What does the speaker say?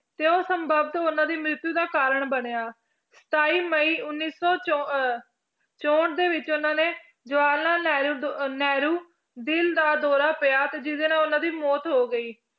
ਤੇ ਉਹ ਉਹਨਾਂ ਦੀ ਮ੍ਰਿਤਯੂ ਦਾ ਕਾਰਣ ਬਣਿਆ ਸਤਾਈ ਮਈ ਉੱਨੀ ਸੌ ਚੋ~ ਅਹ ਚੋਹਠ ਦੇ ਵਿੱਚ ਉਹਨਾਂ ਨੇ ਜਵਾਹਰ ਲਾਲ ਨਹਿਰੂ ਨਹਿਰੂ ਦਿਲ ਦਾ ਦੌਰਾ ਪਿਆ ਤੇ ਜਿਹਦੇ ਨਾਲ ਉਹਨਾਂ ਦੀ ਮੌਤ ਹੋ ਗਈ